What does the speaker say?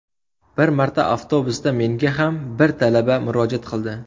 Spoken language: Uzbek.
Bir marta avtobusda menga ham bir talaba murojaat qildi.